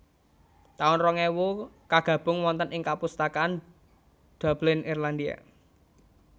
taun rong ewu Kagabung wonten ing kapustakaan Dublin Irlandia